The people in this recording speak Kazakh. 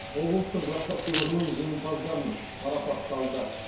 облыстық жастар сыйлығының жеңімпаздарын марапатталды